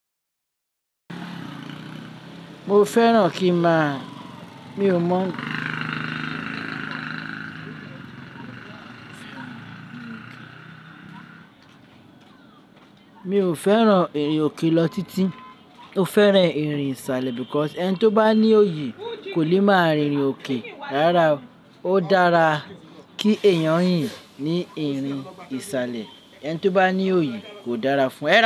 Mo fẹ́ràn kí máa, mi ò mọ̀, mi ò fẹ́ràn ìrìn òkè lọ títí, mo fẹ́ràn ìrìn ìsàlẹ̀ because ẹni tí ó bá ní òyì kò lè máa rìn rin òkè. Rárá, ó dára kí èèyàn yìn ní ìrìn ìsàlẹ̀. Ẹni tí ó bá ní òyì kò dára fún ẹ.